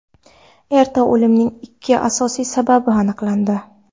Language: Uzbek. Erta o‘limning ikki asosiy sababi aniqlandi.